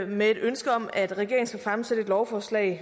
med et ønske om at regeringen skal fremsætte et lovforslag